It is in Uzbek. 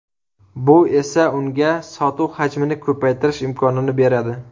Bu esa unga sotuv hajmini ko‘paytirish imkonini beradi.